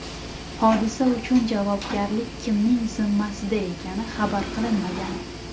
Hodisa uchun javobgarlik kimning zimmasida ekani xabar qilinmagan.